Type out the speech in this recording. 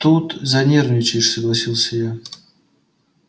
тут занервничаешь согласился я